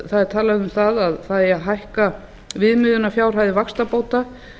það er talað um að það eigi að hækka viðmiðunarfjárhæðir vaxtabóta